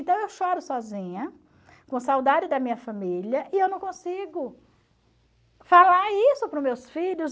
Então, eu choro sozinha, com saudade da minha família, e eu não consigo falar isso para os meus filhos.